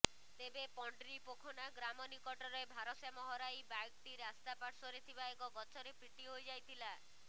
ତେବେ ପଣ୍ଡ୍ରିପୋଖନା ଗ୍ରାମ ନିକଟରେ ଭାରସାମ୍ୟ ହରାଇ ବାଇକ୍ଟି ରାସ୍ତା ପାର୍ଶ୍ବରେ ଥିବା ଏକ ଗଛରେ ପିଟି ହୋଇଯାଇଥିଲା